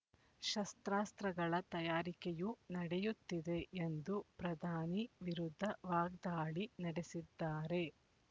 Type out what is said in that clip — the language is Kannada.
ಶಸ್ತ್ರಾಸ್ತ್ರಗಳ ತಯಾರಿಕೆಯೂ ನಡೆಯುತ್ತಿದೆ ಎಂದು ಪ್ರಧಾನಿ ವಿರುದ್ಧ ವಾಗ್ದಾಳಿ ನಡೆಸಿದ್ದಾರೆ